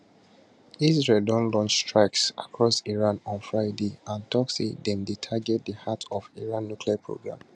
israel don launch strikes across iran on friday and tok say dem dey target di heart of iran nuclear programme